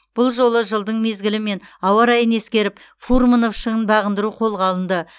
бұл жолы жылдың мезгілі мен ауа райын ескеріп фурмынов шыңын бағындыру қолға алынды